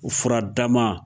O furadama